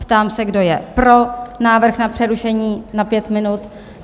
Ptám se, kdo je pro návrh na přerušení na 5 minut?